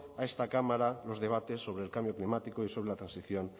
a esta cámara los debates sobre el cambio climático y sobre la transición